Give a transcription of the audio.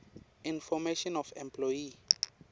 information of employee